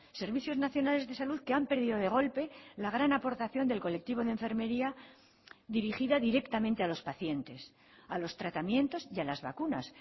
servicios nacionales de salud que han perdido de golpe la gran aportación del colectivo de enfermería dirigida directamente a los pacientes a los tratamientos y a las vacunas